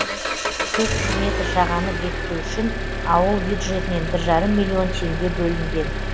төрт жүз метр жағаны бекіту үшін ауыл бюджетінен бір жарым миллион теңге бөлінген